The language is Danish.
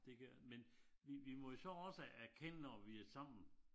Det gør men vi vi må jo så også er kende når vi er sammen